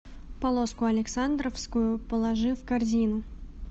полоску александровскую положи в корзину